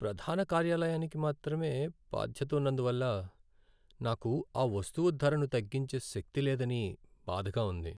ప్రధాన కార్యాలయానికి మాత్రమే బాధ్యత ఉన్నందువల్ల నాకు ఆ వస్తువు ధరను తగ్గించే శక్తి లేదని బాధగా ఉంది.